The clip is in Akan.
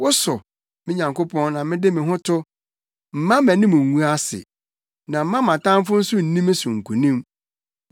Wo so, me Nyankopɔn, na mede me ho to, mma mʼanim ngu ase, na mma mʼatamfo nso nni me so nkonim.